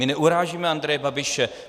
My neurážíme Andreje Babiše.